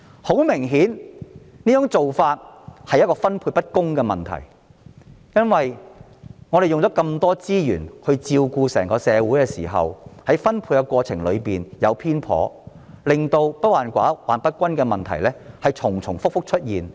很明顯，這種做法存在分配不公的問題，我們花很多資源照顧整個社會，但在分配資源的過程中卻出現偏頗，令"不患寡而患不均"的問題反覆出現。